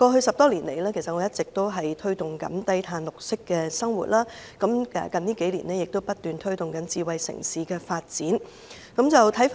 十多年來，我一直推動綠色低碳生活，近數年亦不斷推動智慧城市發展。